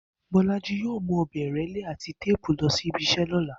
Bó̩lájí yóò mú ò̩be̩ ìré̩lé àti téèpu lo̩ sí ibi is̩é̩ ló̩la